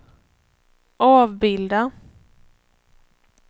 avbilda